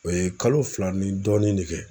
O ye kalo fila ni dɔɔnin ne kɛ.